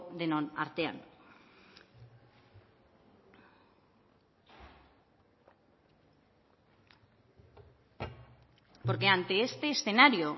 denon artean porque ante este escenario